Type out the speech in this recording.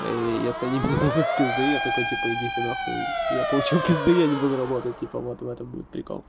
если они мне дадут пизды я такой типа идите нахуй я получил пизды я не буду работать типа вот в этом будет прикол